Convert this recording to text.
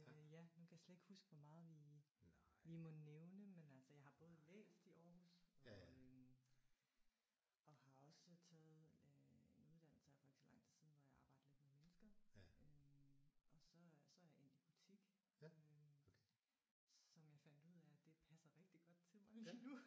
Ja nu kan jeg slet ikke huske hvor meget vi vi må nævne men altså jeg har både læst i Aarhus og øh og har også taget øh en uddannelse her for ikke så lang tid siden hvor jeg arbejdede lidt med mennesker øh og så er så er jeg endt i butik øh som jeg fandt ud af at det passer rigtig godt til mig lige nu